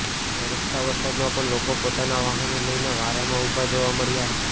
વરસતા વરસાદમાં પણ લોકો પોતાના વાહનો લઇને વારામાં ઉભા જોવા મળ્યા હતા